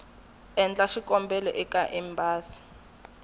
endla xikombelo eka embasi ya